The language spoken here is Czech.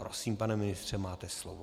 Prosím, pane ministře, máte slovo.